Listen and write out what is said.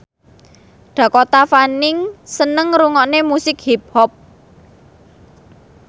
Dakota Fanning seneng ngrungokne musik hip hop